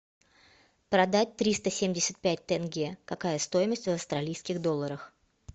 продать триста семьдесят пять тенге какая стоимость в австралийских долларах